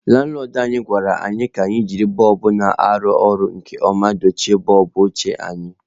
Lanlọdụ anyị gwara anyị ka anyị jiri bọlbụ na-arụ ọrụ nke ọma dochie bọlbụ ochie anyị.